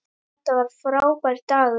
Þetta var frábær dagur.